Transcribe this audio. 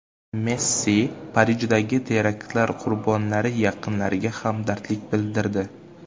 Messi Parijdagi teraktlar qurbonlari yaqinlariga hamdardlik bildirdi.